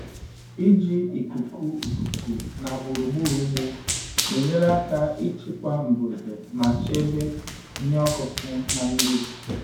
Iji ikuku ikuku na gburugburu ugbo na-enyere aka ịchịkwa mbuze ma chebe ihe ọkụkụ na mmebi.